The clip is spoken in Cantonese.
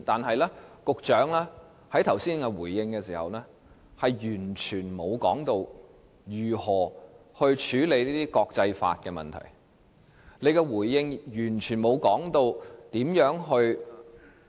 然而，局長剛才回應時完全沒有提到如何處理這些國際法問題，亦沒有提到如何